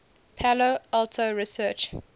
palo alto research